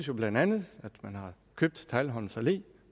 jo bla at man har købt teglholms allé